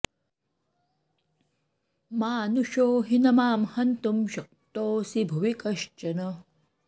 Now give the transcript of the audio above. मानुषो हि न मां हन्तुं शक्तोऽस्ति भुवि कश्चन